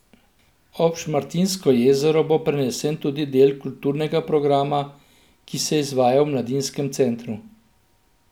Ob Šmartinsko jezero bo prenesen tudi del kulturnega programa, ki se izvaja v mladinskem centru.